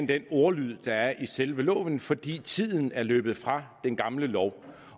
den ordlyd der er i selve loven fordi tiden er løbet fra den gamle lov